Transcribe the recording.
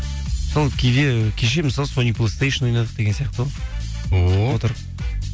сол кейде кеше мысалы сониплестейшн ойнадық деген сияқты ғой ооо отырып